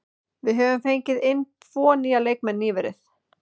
Við höfum fengið inn tvo nýja leikmenn nýverið.